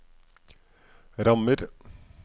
rammer